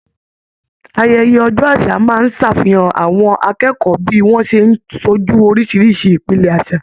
Ayẹyẹ ọjọ àṣà máa n ṣàfihàn àwọn akẹ́kọ̀ọ́ bí wọn ṣe n sójú orisirisi ìpìlẹ àṣà.